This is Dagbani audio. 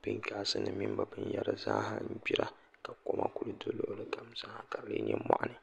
pingaasi nim mini bi binyɛra zaaha n gbira ka koma ku do luɣuli kam zaa ha ka di lee nyɛ moɣani